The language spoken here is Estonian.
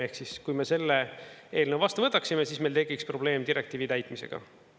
Ehk siis, kui me selle eelnõu vastu võtaksime, siis meil tekiks probleem direktiivi täitmisega.